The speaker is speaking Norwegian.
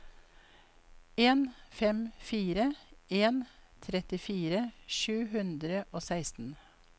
en fem fire en trettifire sju hundre og seksten